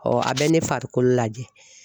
a bɛ ne farikolo lajɛ.